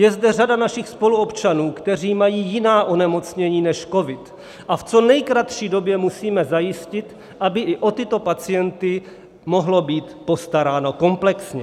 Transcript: Je zde řada našich spoluobčanů, kteří mají jiná onemocnění než covid, a v co nejkratší době musíme zajistit, aby i o tyto pacienty mohlo být postaráno komplexně.